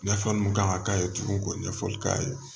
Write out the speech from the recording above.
Ɲɛfɔli mun kan ka k'a ye tuguni ko ɲɛfɔli k'a ye